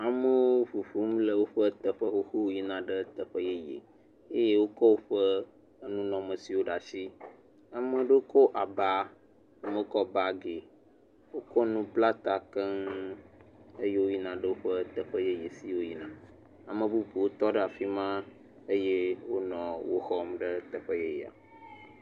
Amewo ʋuʋum le woƒe teƒe xoxo yina ɖe teƒe yeye eye wokɔ woƒe enunɔmesiwo ɖe asi. Ame aɖewo kɔ aba, ame aɖewo kɔ bagi. Wokɔ nu kɔ bla ta keŋ eye woyi na ɖe teƒe yeye fi yike wo yina. Ame bubuwo tɔ ɖe afima eye wonɔ woxɔɣ ɖe teƒe yeyea.